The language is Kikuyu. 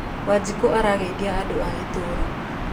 Wanjikũ arageithia andũ a itũũra